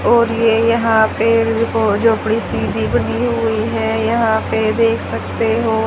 और ये यहां पे रिपो झोपड़ी सी भी बनी हुई है यहां पे देख सकते हो--